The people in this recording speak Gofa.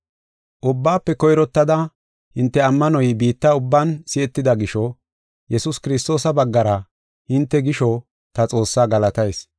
Ubbaafe koyrottada, hinte ammanoy biitta ubban si7etida gisho, Yesuus Kiristoosa baggara hinte gisho ta Xoossaa galatayis.